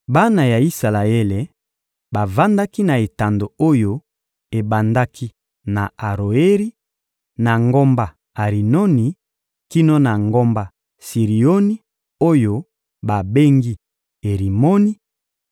Bana ya Isalaele bavandaki na etando oyo ebandaki na Aroeri, na ngomba Arinoni kino na ngomba Sirioni oyo babengi Erimoni;